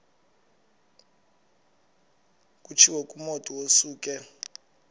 kutshiwo kumotu osuke